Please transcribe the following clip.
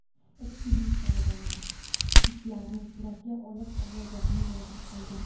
Ekspeditsiya a’zolari kitlarni suratga olib, ovozlarini yozib olgan.